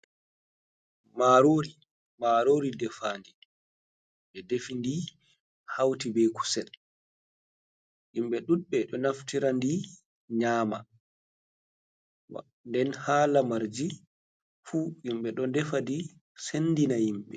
Marori, marori defandi, ɓe defindi hauti be kusel. himɓe ɗuɗɓe ɗo naftirandi nyama nden ha lamarji fu himɓe ɗo defadi sendina himɓe.